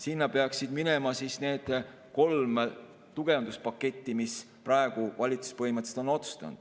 Sinna peaksid minema need kolm tugevduspaketti, mis praegu valitsus põhimõtteliselt on otsustanud.